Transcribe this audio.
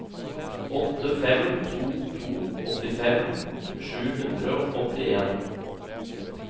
åtte fem to to åttifem sju hundre og åttien